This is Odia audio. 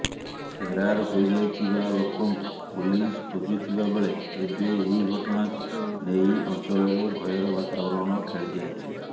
ଫେରାର୍ ହୋଇଯାଇଥିବା ଲୋକଙ୍କୁ ପୋଲିସ ଖୋଜୁଥିବା ବେଳେ ଏବେ ଏହି ଘଟଣାକୁ ନେଇ ଅଞ୍ଚଳରେ ଭୟର ବାତାବରଣ ଖେଳିଯାଇଛି